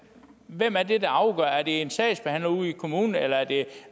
hvem er det der afgør det er det en sagsbehandler ude i kommunen eller er det